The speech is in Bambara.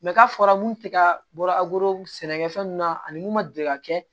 k'a fɔra mun tɛ ka bɔra sɛnɛkɛfɛn ninnu na ani mun ma deli ka kɛ